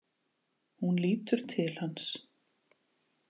Hún lítur til hans.